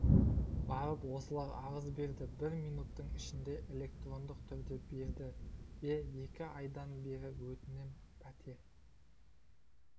барып осылар арыз берді бір минуттың ішінде электронды түрде берді де екі айдан бері өтінем пәтер